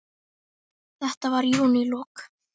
Þetta var í júnílok.